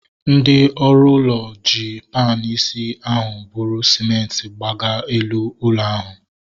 Ndị ọrụ ụlọ ji panu isi ahu bụrụ sịmenti gaba elu ụlọ ahu